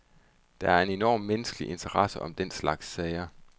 Der er en enorm menneskelig interesse om den slags sager.